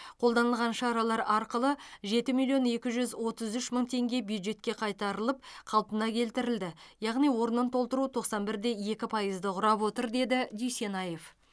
қолданылған шаралар арқылы жеті миллион екі жүз отыз үш мың теңге бюджетке қайтарылып қалпына келтірілді яғни орнын толтыру тоқсан бір де екі пайызды құрап отыр деді дүйсенаев